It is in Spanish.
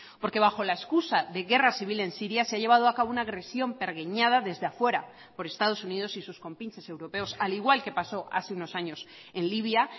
porque bajo la excusa de guerra civil en siria se ha llevado a cabo una agresión pergeñada desde afuera por estados unidos y sus compinches europeos al igual que pasó hace unos años en libia